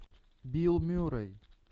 билл мюррей